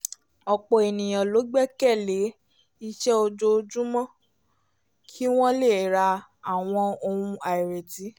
ọ̀pọ̀ ènìyàn ló gbẹ́kẹ̀ lé iṣẹ́ ojoojúmọ́ kí wọ́n lè ra àwọn ohun àìrètí